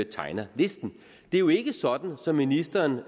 tegner listen det er jo ikke sådan som ministeren